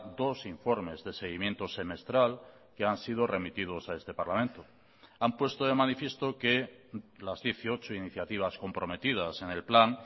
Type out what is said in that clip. dos informes de seguimiento semestral que han sido remitidos a este parlamento han puesto de manifiesto que las dieciocho iniciativas comprometidas en el plan